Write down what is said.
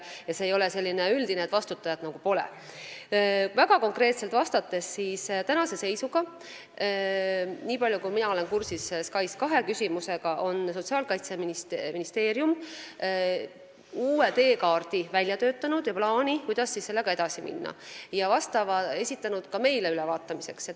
Väga konkreetselt vastates, nii palju kui mina olen SKAIS2 küsimusega kursis, tänase seisuga on Sotsiaalministeerium välja töötanud uue teekaardi ja plaani, kuidas edasi minna, ning esitanud selle ka meile ülevaatamiseks.